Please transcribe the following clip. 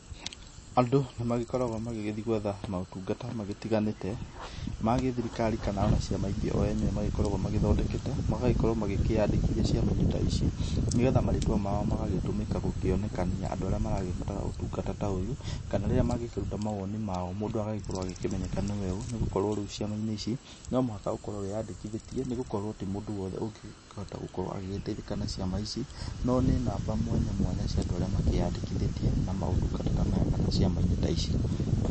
Andũ nĩ magĩkoragwo magĩgĩthiĩ gwetha maũtungata magĩtiganĩte ma gĩthirikari kana o na ciama ingĩ o o enyewe magĩkoragwo magĩthondekete, magagĩkorwo magĩkĩyandĩkithia ciama-inĩ ta ici nĩgetha marĩtwa mao magagĩtũmĩka gũkĩonekania andũ arĩa maragĩbatara ũtungata ta ũyũ kana rĩrĩa magĩkĩruta mawoni mao mũndũ agagĩkorwo agĩkĩmenyeka nĩwe ũũ nĩ gũkorwo rĩu ciama-inĩ ici, nĩ mũhaka ũkorwo wĩyandĩkithĩtie nĩ gũkorwo ti mũndũ wothe ũngĩkĩhota gũkorwo agĩteithĩka na ciama ici, no nĩ namba mwanya mwanya cia andũ arĩa makĩyandĩkithĩtie na maũtungata ta maya kana ciama-inĩ ta ici.